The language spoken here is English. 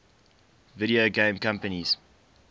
video game companies